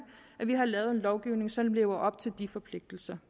at vi har lavet en lovgivning som lever op til de forpligtelser